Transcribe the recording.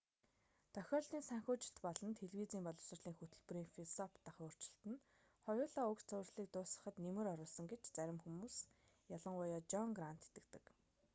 тохиолдлын санхүүжилт болон телевизийн боловсролын хөтөлбөрийн философи дахь өөрчлөлт нь хоёулаа уг цувралыг дуусгахад нэмэр оруулсан гэж зарим хүмүүс ялангуяа жон грант итгэдэг